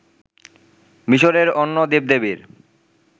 মিসরের অন্য দেবদেবীর